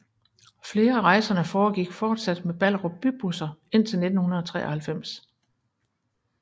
Flere af rejserne foregik fortsat med Ballerup Bybusser indtil 1993